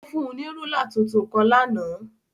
Ó fún un ní rúla tuntun kan lánàá.